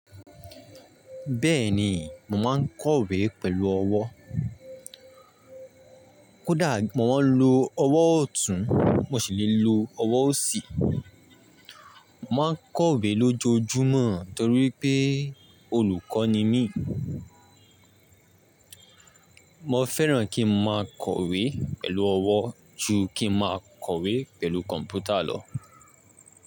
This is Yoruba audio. Bẹ́ẹ̀ni, mo máa ń kọ̀wé pẹ̀lú ọwọ́. Kódà mo máa ń lo ọwọ́ ọ̀tún, mo sì lè lo ọwọ́ òsì. Mo máa ń kọ̀wé lójoojúmọ́ torí pé olùkọ́ ni mí. Mo fẹ́ràn kí mo máa kọ̀wé pẹ̀lú ọwọ́ ju kí ń máa kọ̀wé pẹ̀lú kọ̀m̀pútà lọ.